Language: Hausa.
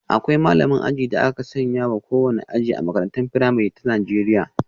Akwai malamin aji da aka sanya wa kowane aji A makarantar firamare ta Najeriya.